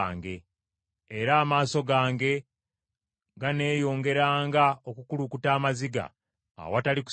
Era amaaso gange ganeeyongeranga okukulukuta amaziga awatali kusirika,